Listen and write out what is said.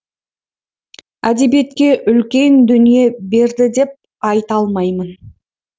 әдебиетке үлкен дүние берді деп айта алмаймын